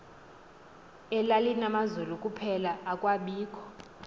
elalinamazulu kuphela akwabikho